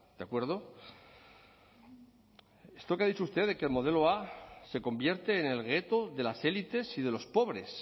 de acuerdo esto que ha dicho usted de que el modelo a se convierte en el gueto de las élites y de los pobres